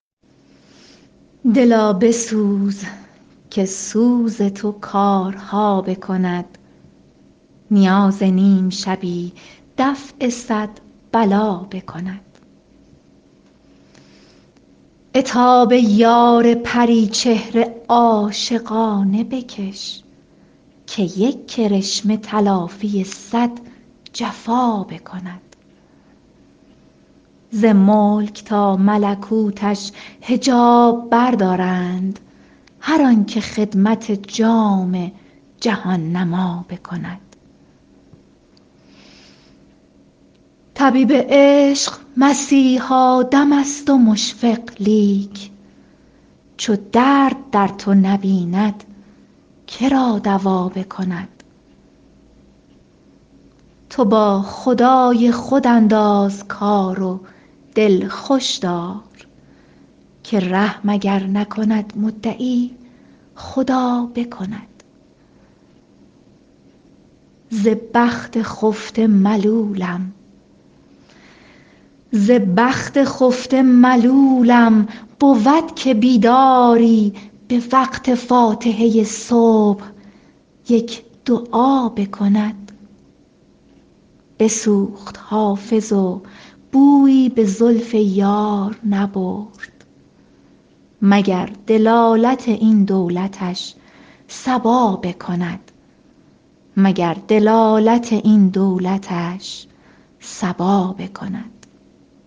دلا بسوز که سوز تو کارها بکند نیاز نیم شبی دفع صد بلا بکند عتاب یار پری چهره عاشقانه بکش که یک کرشمه تلافی صد جفا بکند ز ملک تا ملکوتش حجاب بردارند هر آن که خدمت جام جهان نما بکند طبیب عشق مسیحا دم است و مشفق لیک چو درد در تو نبیند که را دوا بکند تو با خدای خود انداز کار و دل خوش دار که رحم اگر نکند مدعی خدا بکند ز بخت خفته ملولم بود که بیداری به وقت فاتحه صبح یک دعا بکند بسوخت حافظ و بویی به زلف یار نبرد مگر دلالت این دولتش صبا بکند